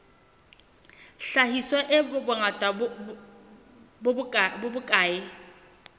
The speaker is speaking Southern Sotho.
hlahiswa e bongata bo bokae